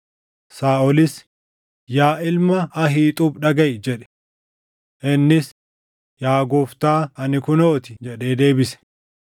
Saaʼolis, “Yaa ilma Ahiixuub dhagaʼi” jedhe. Innis, “Yaa gooftaa, ani kunoo ti” jedhee deebise.